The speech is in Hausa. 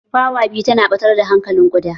Fawa biyu tana ɓatar da hankalin kuɗa.